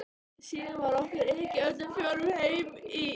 Síðan var okkur ekið öllum fjórum heim í